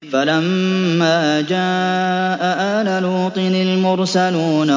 فَلَمَّا جَاءَ آلَ لُوطٍ الْمُرْسَلُونَ